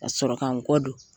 Ka sɔrɔ ka n kɔ don